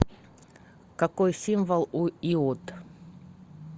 какой символ у иод